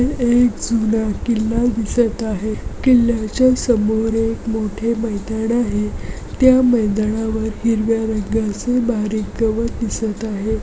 ही एक सुंदर किल्ला दिसत आहे. किल्ल्याच्या समोर एक मोठे मैदान आहे त्या मैदाना मधे हिरव्या रंगचे गवत दिसत आहे.